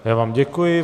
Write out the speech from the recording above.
Já vám děkuji.